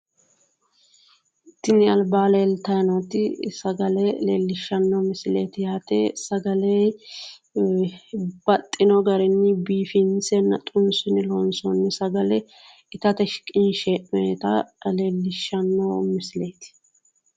tini albaa leeltayi nooti sagale leellishshanno misileeti yaate sagale ee baxxino garinni biifinsenna xunsine loonsoonni sagale itate shiqinshe heennoonita leellishshanno misileeti.